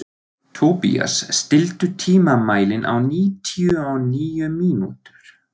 Tobías, stilltu tímamælinn á níutíu og níu mínútur.